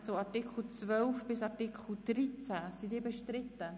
Der Artikel 23 wird seitens der Grünen bestritten;